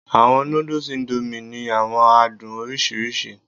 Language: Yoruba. Awọn nudus Indomie ni awọn adun oriṣiriṣi